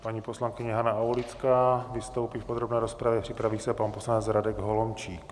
Paní poslankyně Hana Aulická vystoupí v podrobné rozpravě, připraví se pan poslanec Radek Holomčík.